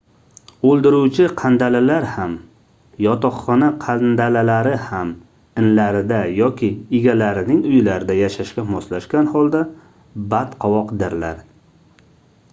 oʻldiruvchi qandalalar ham yotoqxona qandalalari ham inlarida yoki egalarining uylarida yashashga moslashgan holda badqovoqdirlar